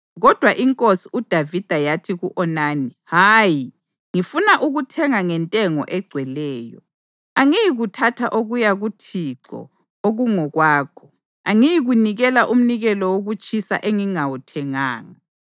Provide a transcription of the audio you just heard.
Kodwa inkosi uDavida yathi ku-Onani, “Hayi, ngifuna ukuthenga ngentengo egcweleyo. Angiyikuthatha okuya kuThixo okungokwakho, angiyikunikela umnikelo wokutshiswa engingawuthenganga.”